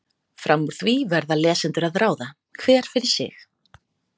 Fram úr því verða lesendur að ráða, hver fyrir sig.